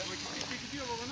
Bura sönəcək ya.